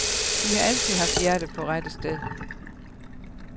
De har altid haft hjertet på rette sted.